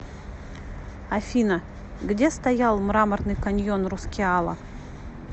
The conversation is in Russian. афина где стоял мраморный каньон рускеала